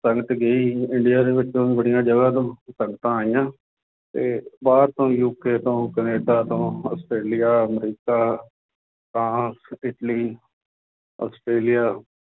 ਸੰਗਤ ਗਈ ਇੰਡੀਆ ਦੇ ਵਿੱਚੋਂ ਬੜੀਆਂ ਜਗ੍ਹਾ ਤੋਂ ਸੰਗਤਾਂ ਆਈਆਂ ਤੇ ਬਾਹਰ ਤੋਂ UK ਤੋਂ ਕੈਨੇਡਾ ਤੋਂ Australia America, France, Italy, Australia,